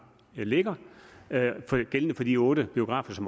ligger gældende for de otte biografer